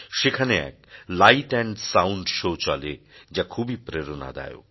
সেখানে এক light and sound show চলে যা খুবই প্রেরণাদায়ক